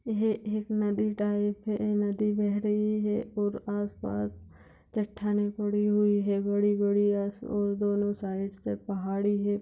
यह एक नदी का का नदी बहे रही है और आसपास चट्टानें पड़ी हुई है बड़ी बड़ी दोनों और दोनों साइड से पहाड़ी है ।